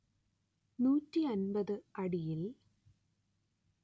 നൂറ്റി അന്‍പത്ത് അടിയിൽ